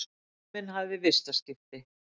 Leifur minn hafði vistaskiptin.